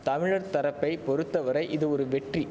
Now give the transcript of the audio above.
தமிழர் தரப்பை பொறுத்த வரை இது ஒரு வெற்றி